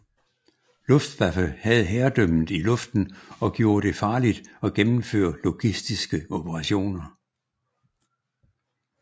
Luftwaffe havde herredømmet i luften og gjorde det farligt at gennemføre logistiske operationer